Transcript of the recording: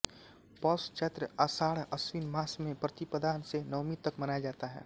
पौष चैत्र आषाढअश्विन मास में प्रतिपदा से नवमी तक मनाया जाता है